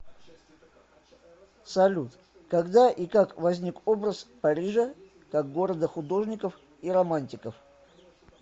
салют когда и как возник образ парижа как города художников и романтиков